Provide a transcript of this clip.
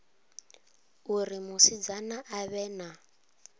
uri musidzana a vhe na